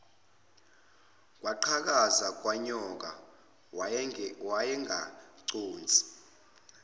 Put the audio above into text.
kwaqhakaza kwanyoka wayengaconsi